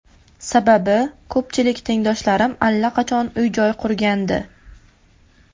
Sababi, ko‘pchilik tengdoshlarim allaqachon uy-joy qurgandi.